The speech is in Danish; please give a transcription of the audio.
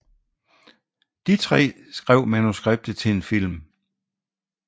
De tre skrev manuskriptet til en film